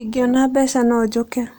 Ingĩona mbeca, no njũke.